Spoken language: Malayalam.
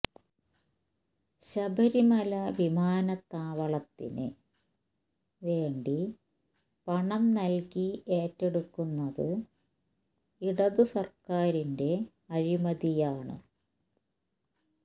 ശബരിമല വിമാനത്താവളത്തിന് വേണ്ടി പണം നല്കി ഏറ്റെടുക്കുന്നത് ഇടത് സര്ക്കാരിന്റെ അഴിമതിയാണ്